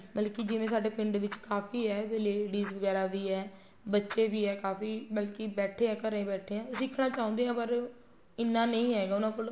ਮਤਲਬ ਕੀ ਜਿਵੇਂ ਸਾਡੇ ਪਿੰਡ ਚ ਕਾਫ਼ੀ ਏ ladies ਵਗੈਰਾ ਵੀ ਏ ਬੱਚੇ ਵੀ ਏ ਕਾਫ਼ੀ ਮਤਲਬ ਕੀ ਬੈਠੇ ਏ ਘਰੇ ਬੈਠੇ ਏ ਸਿਖਣਾ ਚਾਹੁੰਦੇ ਹੈ ਪਰ ਇੰਨਾਂ ਨਹੀਂ ਹੈਗਾ ਉਹਨਾ ਕੋਲ